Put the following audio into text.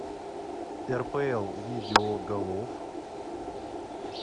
рпл видео голов